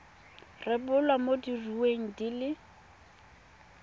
rebolwa mo diureng di le